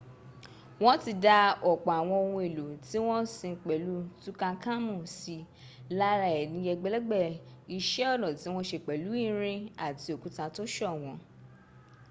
wọ́n ti dá ọ̀pọ̀ àwọn ohun èlò tí wọ́n sin pẹ̀lú tutankhamun sí lára è ní ẹgbẹ̀lẹ́gbẹ̀ iṣẹ́ ọnà tí wọ́n se pẹ̀lú irin àti òkúta tó ṣọ̀wọ́n